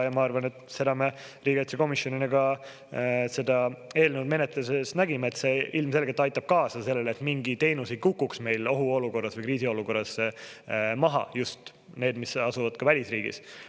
Ma arvan, et me riigikaitsekomisjoniga seda eelnõu menetledes nägime, et see ilmselgelt aitab kaasa sellele, et mingi teenus ei kukuks meil ohuolukorras või kriisiolukorras maha, just need, mis asuvad ka välisriigis.